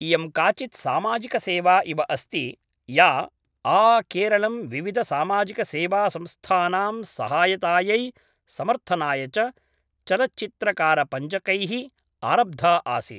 इयं काचित् सामाजिकसेवा इव अस्ति या आकेरलं विविधसामाजिकसेवासंस्थानां सहायतायै समर्थनाय च चलच्चित्रकारपञ्चकैः आरब्धा आसीत्।